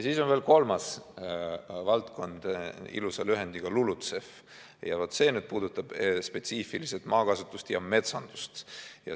Siis on veel kolmas valdkond, ilusa lühendiga LULUCF, ja vaat see puudutab spetsiifiliselt maakasutust ja metsandust.